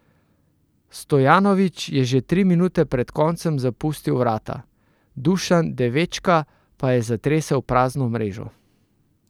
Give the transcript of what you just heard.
Stojanovič je že tri minute pred koncem zapustil vrata, Dušan Devečka pa je zatresel prazno mrežo.